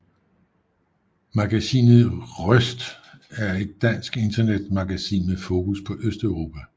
Magasinet rØST er et dansk internetmagasin med fokus på Østeuropa